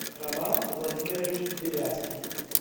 роман владимирович беляцкий